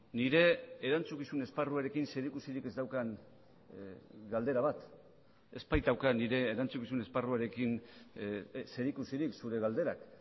nire erantzukizun esparruarekin zerikusirik ez daukan galdera bat ez baitauka nire erantzukizun esparruarekin zerikusirik zure galderak